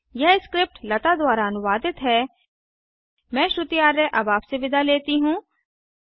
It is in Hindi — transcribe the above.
यह स्क्रिप्ट लता द्वारा अनुवादित है मैं श्रुति आर्य अब आप से विदा लेती हूँ